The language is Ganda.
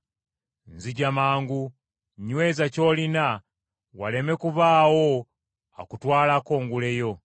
Nzija mangu! Nnyweza ky’olina waleme kubaawo akutwalako ngule yo.